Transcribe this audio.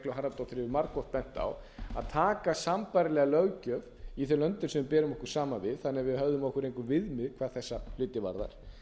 harðardóttir hefur margoft bent á að taka sambærilega löggjöf í þeim löndum sem við berum okkur saman við þannig að við hefðum okkur einhver viðmið hvað